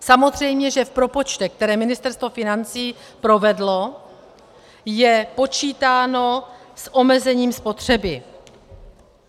Samozřejmě že v propočtech, které Ministerstvo financí provedlo, je počítáno s omezením spotřeby.